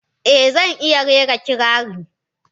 Eh, zan iya rera kirari.